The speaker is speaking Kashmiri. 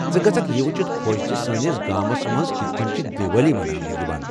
ژٕ گژھکھ یہِ وُچھِتھ خۄش زِ سٲنِس گامَس مَنٛز کِتھہٕ کٔنۍ چھِ دیوالی مناونہٕ یِوان ۔